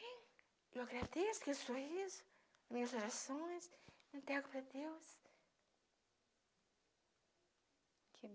Eu agradeço com esse sorriso, minhas orações, me entrego para Deus. Que